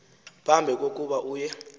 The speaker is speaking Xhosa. phambi kokuba uye